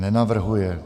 Nenavrhuje.